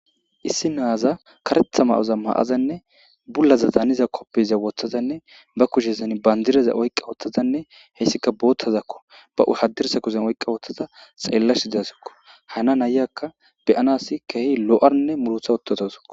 issi naaza karetha ma7oza maazanne bullaza daniza koppeza woththazanne ba kushezan bandireza oyqqa wothtazanne heyssika boottazakko ba haddirsa kuzen oyqqa wothtaza xeellash idasikko hana ayakka beyanas kehi lo7arnne mulotha ottotosako